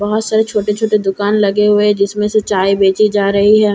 बहुत सारे छोटे छोटे दुकान लगे हुए हैं जिसमे से चाय बेची जा रहे हैं --